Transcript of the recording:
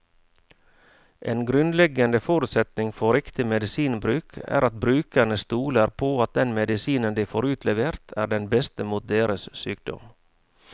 En grunnleggende forutsetning for riktig medisinbruk er at brukerne stoler på at den medisinen de får utlevert, er den beste mot deres sykdom.